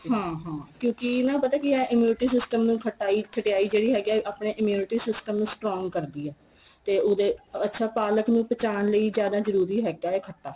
ਹਾਂ ਹਾਂ ਕਿਉਂਕਿ ਨਾ ਪਤਾ ਕੀ ਏ immunity system ਨੂੰ ਖਟਾਈ ਖਟਿਆਈ ਜਿਹੜੀ ਹੈਗੀ ਏ ਆਪਣੇ immunity system ਨੂੰ strong ਕਰਦੀ ਏ ਤੇ ਉਹਦੇ ਅੱਛਾ ਪਾਲਕ ਨੂੰ ਪਚਾਣ ਲਈ ਜਿਆਦਾ ਜਰੂਰੀ ਹੈਗਾ ਏ ਖੱਟਾ